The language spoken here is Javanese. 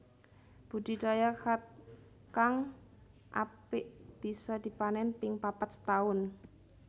Budi Daya Khat kang apik bisa dipanen ping papat setahun